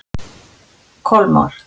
Kolmar